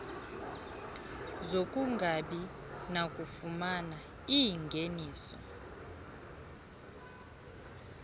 zokungabi nakufumana iingeniso